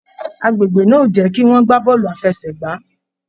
Agbègbè náà o jẹ kí wọn gbà bọọlu àfẹ́sẹ̀gbà.